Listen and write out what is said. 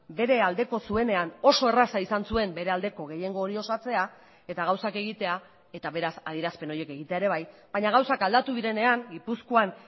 bere aldeko zuenean oso erraza izan zuen bere aldeko gehiengo hori osatzea eta gauzak egitea eta beraz adierazpen horiek egitea ere bai baina gauzak aldatu direnean gipuzkoan